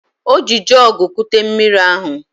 O ji jọọgụ kute mmiri ahụ